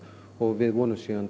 við vonumst